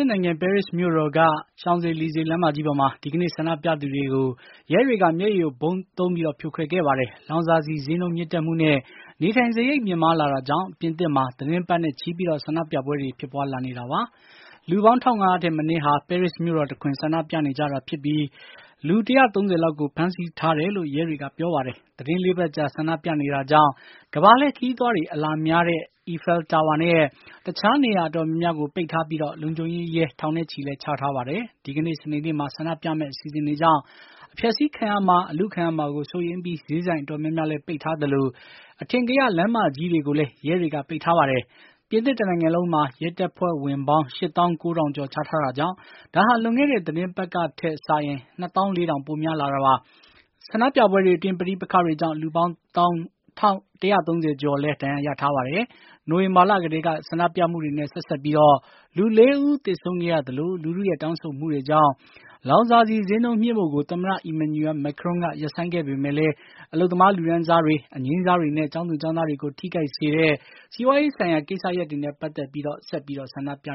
စ်နိုင်ငံ ပဲရစ်မြို့တော်က Champs Elysees လမ်းမကြီးပေါ်မှာ ဒီကနေ့ ဆန္ဒပြသူတွေကို ရဲတွေက မျက်ရည်ယိုဗုံးသုံးပြီး ဖြိုခွဲခဲ့ပါတယ်။ လောင်စာဆီဈေးနှုန်းမြင့်တက်မှုနဲ့ နေထိုင်စားရိတ်မြင့်မားလာတာကြောင့် ပြင်သစ်မှာ သီတင်းပတ်နဲ့ချီ ဆန္ဒပြပွဲတွေ ဖြစ်ပါွးလာနေတာပါ။ လူပေါင်း ၁၅၀၀ ထက်မနည်းဟာ ပဲရစ်မြို့တော်တခွင် ဆန္ဒပြနေကြတာဖြစ်ပြီး လူ ၁၃၀ လောက်ကို ဖမ်းဆီးထားတယ်လို့ ရဲတွေက ပြောပါတယ်။ သီတင်း ၄ ပတ်ကြာ ဆန္ဒပြနေတာကြောင့် ကမ္ဘာလှည့်ခရီးသွားတွေ အလာများတဲ့ အီဖယ်လ်တာဝါနဲ့ တခြားနေရာအတော်များများကို ပိတ်ထားပြီး လုံခြုံရေးရဲ ထောင်နဲ့ချီလည်း ချထားပါတယ်။ ဒီကနေ့ စနေနေ့မှာ ဆန္ဒပြမယ့် အစီအစဉ်ကြောင့် အဖျက်ဆီးခံရမှာ အလုခံရမှာကို စိုးရိမ်ပြီး ဈေးဆိုင်အတော်များများလည်း ပိတ်ထားသလို အထင်ကရလမ်းမကြီးတွေကိုလည်း ရဲတွေက ပိတ်ထားပါတယ်။ ပြင်သစ်တနိုင်ငံလုံးမှာ ရဲတပ်ဖွဲ့ဝင်ပေါင်း ၈၉၀၀၀ ကျော် ချထားတာကြောင့် ဒါဟာ လွန်ခဲ့တဲ့ သီတင်းပတ်ကထက် ၂၄၀၀၀ ပိုများလာတာပါ။ ဆန္ဒပြပွဲတွေအတွင်း ပဋိပက္ခတွေကြောင်း လူပေါင်း ၁၃၀ ကျော်လည်း ဒဏ်ရာရထားပါတယ်။ နိုဝင်ဘာလကတည်းက ဆန္ဒပြမှုတွေနဲ့ ဆက်စပ်ပြီး လူ ၄ ဦး သေဆုံးခဲ့ရသလို လူထုရဲ့တောင်းဆိုမှုတွေကြောင့် လောင်စာဆီဈေးနှုန်းမြှင့်ဖို့ကို သမ္မတ Emmanuel Macron က ရပ်ဆိုင်းခဲ့ပေမယ့်လည်း အလုပ်သမားလူတန်းစားတွေ၊ အငြိမ်းစားတွေနဲ့ ကျောင်းသူကျောင်းသားတွေကို ထိခိုက်စေတဲ့ စီးပွားရေးဆိုင်ရာ ကိစ္စရပ်တွေနဲ့ ပတ်သတ်ပြီး ဆက်ပြီး ဆန္ဒပြ